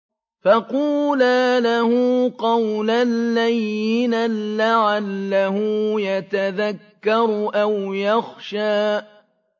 فَقُولَا لَهُ قَوْلًا لَّيِّنًا لَّعَلَّهُ يَتَذَكَّرُ أَوْ يَخْشَىٰ